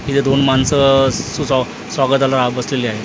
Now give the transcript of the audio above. हिथं दोन माणसं स स्वा स्वागताला बसलेले आहेत .